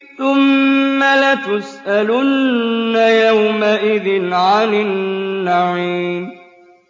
ثُمَّ لَتُسْأَلُنَّ يَوْمَئِذٍ عَنِ النَّعِيمِ